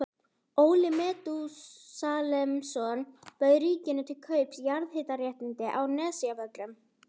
Óli Metúsalemsson bauð ríkinu til kaups jarðhitaréttindi á Nesjavöllum.